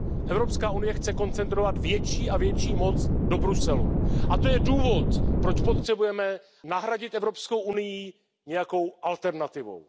Evropská unie chce koncentrovat větší a větší moc do Bruselu, a to je důvod, proč potřebujeme nahradit Evropskou unii nějakou alternativou.